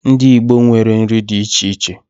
Ndị Igbo nwere nri dị iche iche.